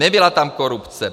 Nebyla tam korupce.